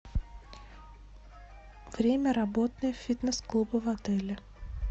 время работы фитнес клуба в отеле